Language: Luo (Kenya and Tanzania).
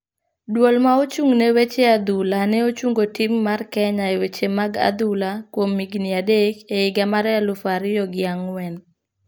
Duol ma ochung' ne weche adhula ne ochungo tim mar kenya e weche mag adhula kuom higni adak e higa mar elufu ariyo gi angwen.